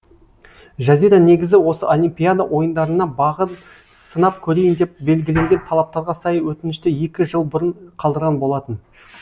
жазира негізі осы олимпиада ойындарына бағын сынап көрейін деп белгіленген талаптарға сай өтінішті екі жыл бұрын қалдырған болатын